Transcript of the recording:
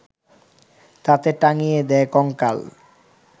তাতে টাঙিয়ে দেয় কঙ্কাল